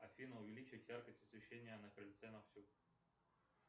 афина увеличить яркость освещения на крыльце на всю